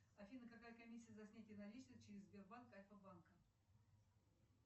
афина какая комиссия за снятие наличных через сбербанк альфа банка